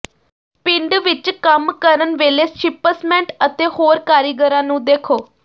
ਪਿੰਡ ਵਿਚ ਕੰਮ ਕਰਨ ਵੇਲੇ ਸ਼ਿਪਸਮੈਂਟ ਅਤੇ ਹੋਰ ਕਾਰੀਗਰਾਂ ਨੂੰ ਦੇਖੋ